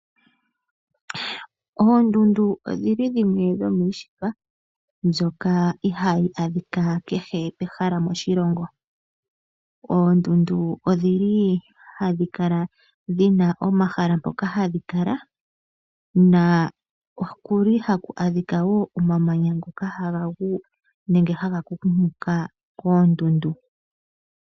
Oondundu odhi li dhimwe dhomiishitwa mbyoka ihaayi adhika keke pehala moshilongo . Oondundu odhi kala dhina omahala mpoka hadhi kala . Okuli haku adhikwa wo omamanya ngoka haga gu nenge haga kunguluka koondundu .